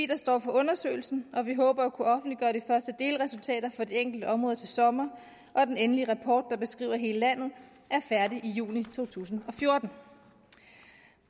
der står for undersøgelsen og vi håber at kunne offentliggøre de første delresultater for de enkelte områder til sommer og den endelige rapport der beskriver hele landet er færdig i juni to tusind og fjorten